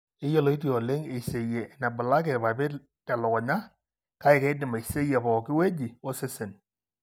Eiyioloti oleng eiseyie enebulaki irpapit telukunya, kake keidim aiseyie pooki wueji osesen.